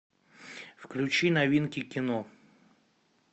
включи новинки кино